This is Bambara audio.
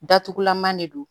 Datugulanma de don